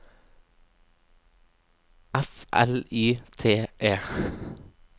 F L Y T E